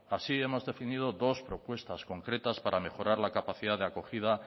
así hemos definido dos propuestas concretas para mejorar la capacidad de acogida